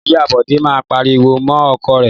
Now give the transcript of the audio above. Ìyá Bọ̀dé máa ń pariwo mọ́ ọkọ rẹ̀.